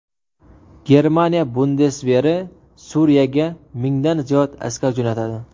Germaniya bundesveri Suriyaga mingdan ziyod askar jo‘natadi.